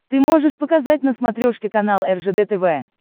ты можешь показать на смотрешке канал ржд тв